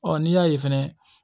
Ɔ n'i y'a ye fɛnɛ